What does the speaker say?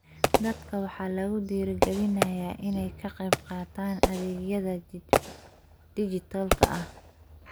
Dadka waxaa lagu dhiirigelinayaa inay ka qaybqaataan adeegyada dhijitaalka ah.